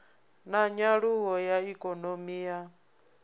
na nyaluwo ya ikonomi ya